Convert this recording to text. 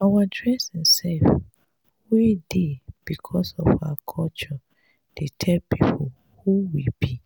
our dressing sef wey dey becos of our culture dey tell pipo who we be.